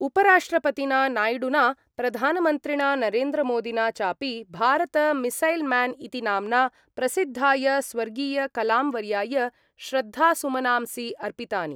उपराष्ट्रपतिना नाय्डुना प्रधानमन्त्रिणा नरेन्द्रमोदिना चापि भारत मिसैल् म्यान् इति नाम्ना प्रसिद्धाय स्वर्गीयकलाम्वर्याय श्रद्धासुमनांसि अर्पितानि।